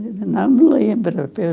Não me lembro.